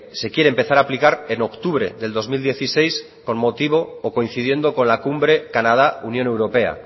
se quiere empezar a aplicar en octubre del dos mil dieciséis con motivo o coincidiendo con la cumbre canadá unión europea